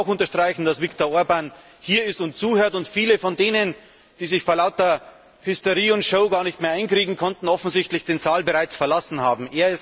Ich möchte auch unterstreichen, dass Viktor Orbán hier ist und zuhört und viele von denen, die sich vor lauter Hysterie und Show gar nicht mehr einkriegen konnten, offensichtlich den Saal bereits verlassen haben.